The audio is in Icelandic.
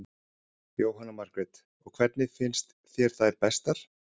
Jóhanna Margrét: Og hvernig finnst þér þær bestar?